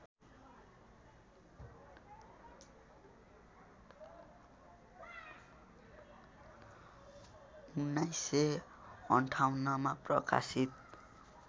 १९५८ मा प्रकाशित